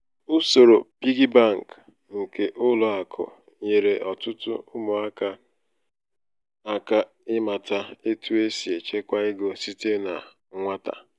usoro "piggy bank" nke ụlọ akụ nyeere ọtụtụ ụmụaka aka ịmata etu esị echekwa ego site na nwata.